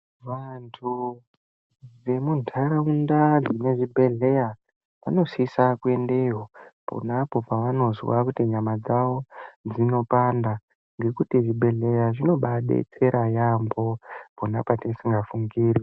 Vantu vemuntaraunda dzine zvibhedhleya vanosisa kuendeyo ponapo pavanozwa kuti kunyama dzavo dzinopanda. Ngekuti zvibhedhleya zvinobaadetsera yaambo pona patisingafungiri.